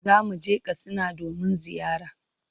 Za mu je Katsina domin ziyara.